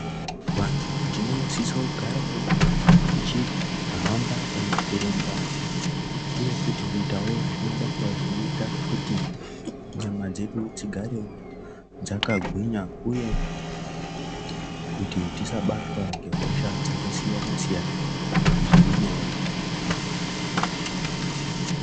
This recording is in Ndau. Vantu tinosiso kugarawo tichihamba kana kurumba uye futi kuitawo zvimabasa zvinoita kuti nyama dzedu dzigarewo dzakagwinvu uye kuti tisabatwa ngehosha dzakasiyana-siyana zviri nyore.